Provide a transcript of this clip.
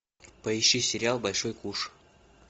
поищи сериал большой куш